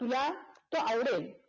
तुला तोह आवडेल